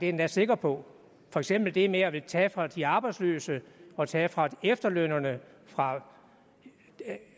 endda sikker på for eksempel det med at ville tage fra de arbejdsløse og tage fra efterlønnerne fra